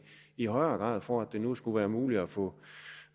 i højere grad for at det nu skulle være muligt at få